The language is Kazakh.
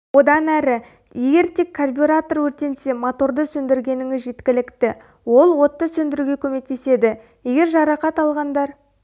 одан әрі егер тек карбюратор өртенсе моторды сөндіргеніңіз жеткілікті ол отты сөндіруге көмектеседі егер жарақат алғандар